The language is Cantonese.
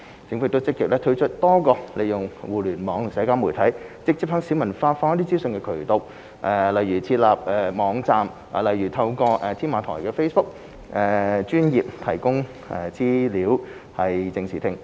政府亦積極推出多個利用互聯網和社交媒體直接向市民發放資訊的渠道，如設立網站和透過"添馬台 "Facebook 專頁，提供資料以正視聽。